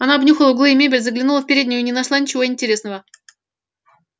она обнюхала углы и мебель заглянула в переднюю и не нашла ничего интересного